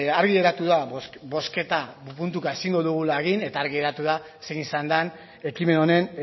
argi geratu da bozketa puntuka ezingo dugula da eta argi geratu da zein izan den ekimen honen